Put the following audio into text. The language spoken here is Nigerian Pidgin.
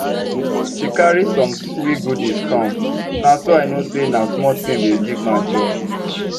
she carry some swir goodies come na so i know say na small thing dey give man joy